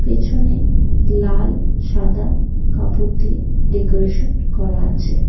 পেছনে লাল সাদা কাপড় দিয়ে ডেকোরেশন করা আছে।